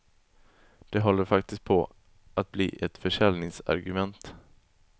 Det håller faktiskt på att bli ett försäljningsargument.